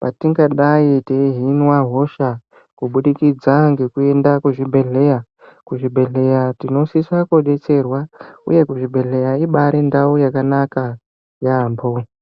,patingadai teihinwa hosha, kubudikidza ngekuenda kuchibhedhleya. Kuzvibhedhleeya tinosisa kudetserwa, uye kuzvibhedhleya ibaari ndau yakanaka, yaampho.